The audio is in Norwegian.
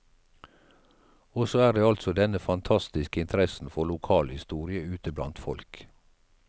Og så er det altså denne fantastiske interessen for lokalhistorie ute blant folk.